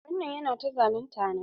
Babban nan yana ta zalunta na.